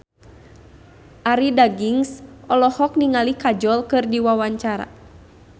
Arie Daginks olohok ningali Kajol keur diwawancara